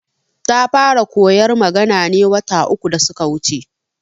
Ta fara koyar magana ne wata uku da suka wuce